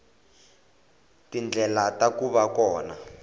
tindlela ta ku va kona